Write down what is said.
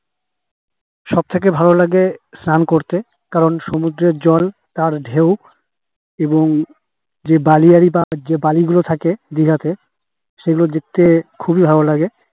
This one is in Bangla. সব থেকে ভালো লাগে স্নান করতে কারণ সমুদ্রের জল আর ঢেউ এবং যে বালিগুলো থাকে দিঘাতেই থাকে যাতে সেগুলো দেখতে খুবই ভালো লাগে